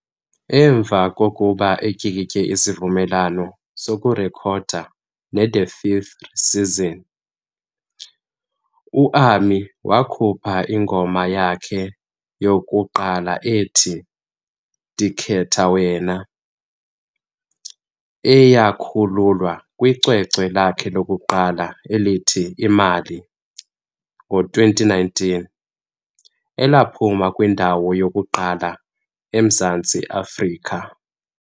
Emva kokuba etyikitye isivumelwano sokurekhoda neThe Vth Season, u-Ami wakhupha ingoma yakhe yokuqala ethi, "Ndikhethe Wena", eyakhululwa kwicwecwe lakhe lokuqala elithi Imali, ngo-2019, elaphuma kwindawo yokuqala eMzantsi Afrika.